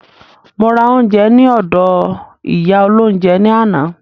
Mo ra oúnjẹ ní ọdọ̀ ìyá olóhúnjẹ ní àná.